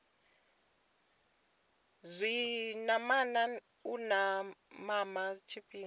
zwinamana u mama tshifhinga tshi